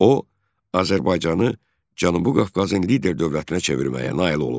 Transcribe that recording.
O, Azərbaycanı Cənubi Qafqazın lider dövlətinə çevirməyə nail olub.